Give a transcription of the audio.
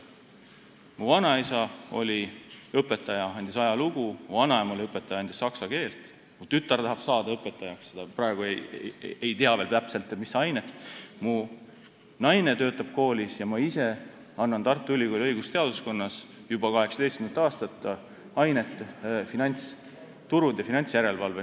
Mu vanaisa oli õpetaja, andis ajalugu, mu vanaema oli õpetaja, tema andis saksa keelt, mu tütar tahab saada õpetajaks, ehkki praegu ta veel täpselt ei tea, mis ainet soovib anda, mu naine töötab koolis ja ma ise annan Tartu Ülikooli õigusteaduskonnas juba 18. aastat ainet "Finantsturud ja finantsjärelevalve".